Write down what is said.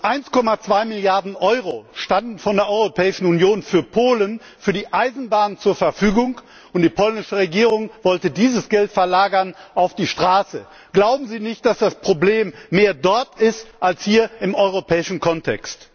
1,2Milliarden Euro standen von der Europäischen Union für Polen für die Eisenbahn zur Verfügung, und die polnische Regierung wollte dieses Geld auf die Straße verlagern. Glauben Sie nicht, dass das Problem mehr dort ist als hier im europäischen Kontext?